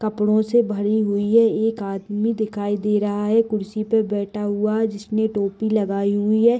कपड़ो से भरी हुई है एक आदमी दिखाई दे रहा है कुर्सी पे बैठा हुआ है जिसने टोपी लगाई हुआ है।